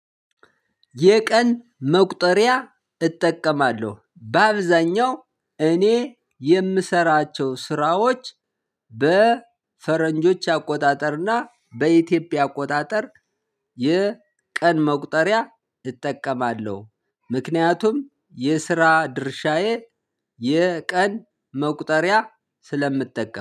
የቀን መቁጠሪያ እጠቀማለሁ። በአብዛኛው እኔ የምሰራቸው ስራዎች በፈረንጆች አቆጣጠርና በኢትዮጵያ አቆጣጠር። የቀን መቁጠሪያ እጠቀማለሁ። ምክንያቱም የስራ ድርሻዬ የቀን መቁጠሪያ ስለምጠቀም